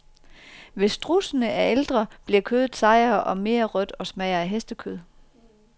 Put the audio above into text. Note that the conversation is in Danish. Hvis strudsene er ældre, bliver kødet sejere, mere rødt og smager af hestekød.